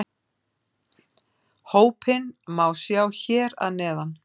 Hópinn má sjá hér að neðan